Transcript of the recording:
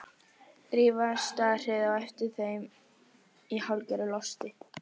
Drífa starði á eftir þeim í hálfgerðu losti.